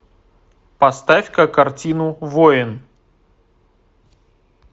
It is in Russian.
поставь ка картину воин